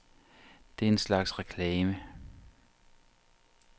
Det er en slags reklame.